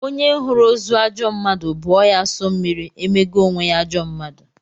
Onye hụrụ ozu ajọ mmadụ bụọ ya asọ mmiri, emego onwe ya ajọ mmadụ.